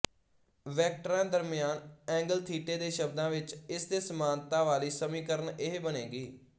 ਵੈਕਟਰਾਂ ਦਰਮਿਆਨ ਐਂਗਲ ਥੀਟੇ ਦੇ ਸ਼ਬਦਾਂ ਵਿੱਚ ਇਸਦੇ ਸਮਾਨਤਾ ਵਾਲੀ ਸਮੀਕਰਨ ਇਹ ਬਣੇਗੀ